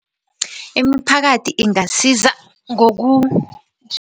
Imiphakathi ingasiza